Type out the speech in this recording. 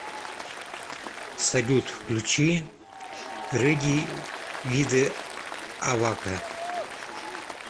салют включи реди виде аваке